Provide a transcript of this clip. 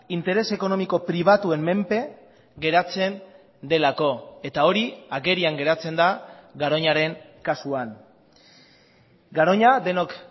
interes ekonomiko pribatuen menpe geratzen delako eta hori agerian geratzen da garoñaren kasuan garoña denok